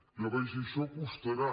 jo vaig dir això costarà